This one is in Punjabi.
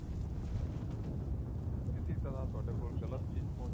ਕਿਸੀ ਤਰਾਂ ਤੁਹਾਡੇ ਕੋਲ ਚੀਜ਼ ਪਹੁੰਚ